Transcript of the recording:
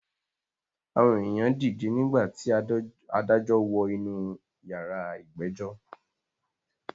Àwọn èyàn dìde nígbà tí adájọ́ wọ inú yàrá ìgbẹ́jọ́.